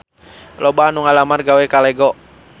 Loba anu ngalamar gawe ka Lego